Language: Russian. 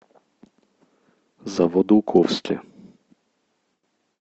заводоуковске